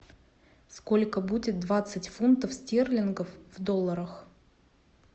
сколько будет двадцать фунтов стерлингов в долларах